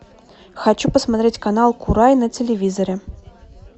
хочу посмотреть канал курай на телевизоре